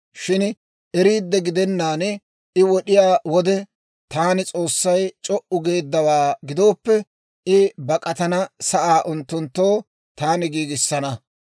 Shin eriidde gidenaan I wod'iyaa wode, taani, S'oossay c'o"u geeddawaa gidooppe, I bak'atana sa'aa unttunttoo taani giigisana.